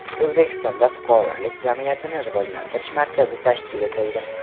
O‘zbekistonda Fuqarolik jamiyatini rivojlantirish markazi tashkil etildi.